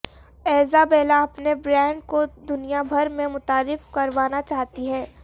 Isabella اپنے brand کو دنیا بھر میں متعارف کروانا چاہتی ہیں